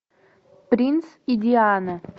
принц и диана